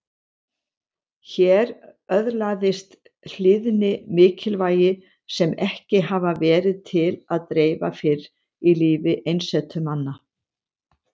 Hér öðlaðist hlýðni mikilvægi sem ekki hafði verið til að dreifa fyrr í lífi einsetumanna.